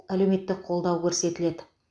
әлеуметтік қолдау көрсетіледі